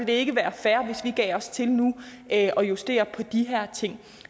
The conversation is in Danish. det ikke være fair hvis vi nu gav os til at at justere på de her ting